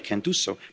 in the future.